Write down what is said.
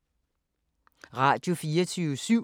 Radio24syv